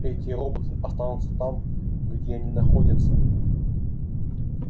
эти роботы останутся там где они находятся